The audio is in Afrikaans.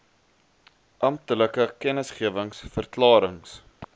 amptelike kennisgewings verklarings